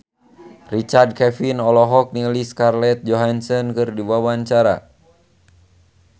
Richard Kevin olohok ningali Scarlett Johansson keur diwawancara